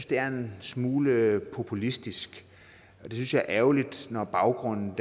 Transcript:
det er en smule populistisk det synes jeg er ærgerligt når baggrunden